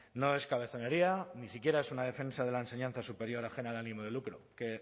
no es cabezonería ni siquiera es una defensa de la enseñanza superior a generar ánimo de lucro que